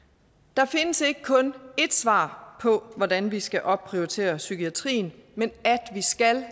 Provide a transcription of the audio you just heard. der findes ikke kun ét svar på hvordan vi skal opprioritere psykiatrien men at vi skal